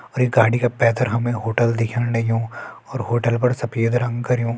और ये गाड़ी का पैथर हमे होटल दिखेण लग्युं और होटल पर सफ़ेद रंग करयूं।